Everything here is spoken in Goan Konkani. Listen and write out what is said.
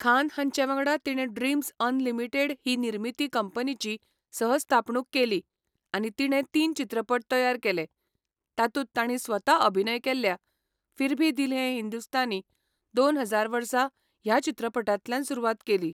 खान हांचे वांगडा तिणें ड्रीमझ अनलिमिटेड ही निर्मिती कंपनीची सह स्थापणूक केली आनी तिणें तीन चित्रपट तयार केले, तातूंत तांणी स्वता अभिनय केल्ल्या फिर भी दिल है हिंदुस्तानी दोन हजार वर्सा ह्या चित्रपटांतल्यान सुरवात केली.